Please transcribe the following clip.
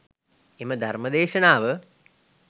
එම ධර්ම දේශනාව